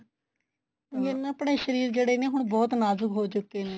ਇਹ ਨਾ ਆਪਣੇ ਸ਼ਰੀਰ ਜਿਹੜੇ ਨੇ ਹੁਣ ਬਹੁਤ ਨਾਜੁਕ ਹੋ ਚੁੱਕੇ ਨੇ